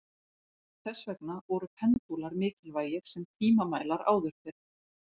Þess vegna voru pendúlar mikilvægir sem tímamælar áður fyrr.